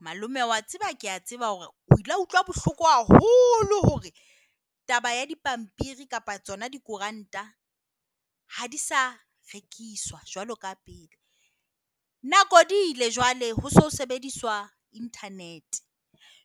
Malome o a tseba ke a tseba hore o ile wa utlwa bohloko haholo hore taba ya dipampiri kapa tsona dikoranta ha di sa rekiswa jwalo ka pele. Nako di ile jwale ho se ho sebediswa internet.